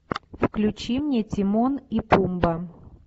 включи мне тимон и пумба